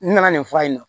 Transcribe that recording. N nana nin fura in na